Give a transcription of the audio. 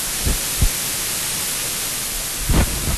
мне срочно нужна морковь мытая